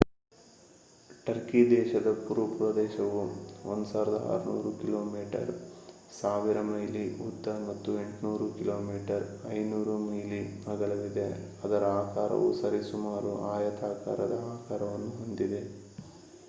Turkey ದೇಶದ ಭೂಪ್ರದೇಶವು 1,600 kilometre 1,000 mile ಉದ್ದ ಮತ್ತು 800 ಕಿಮೀ 500 ಮೈಲಿ ಅಗಲವಿದೆ ಅದರ ಆಕಾರವು ಸರಿಸುಮಾರು ಆಯತಾಕಾರದ ಆಕಾರವನ್ನು ಹೊಂದಿದೆ